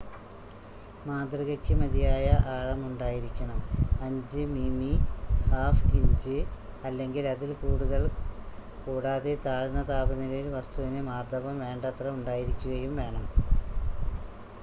മാതൃകയ്ക്ക് മതിയായ ആഴം ഉണ്ടായിരിക്കണം 5 മിമി 1/5 ഇഞ്ച് അല്ലെങ്കില്‍ അതിൽ കൂടുതൽ കൂടാതെ താഴ്ന്ന താപനിലയില്‍ വസ്തുവിന് മാര്‍ദ്ദവം വേണ്ടത്ര ഉണ്ടായിരിക്കുകയും വേണം